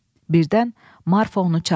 Birdən Marfa onu çağırdı.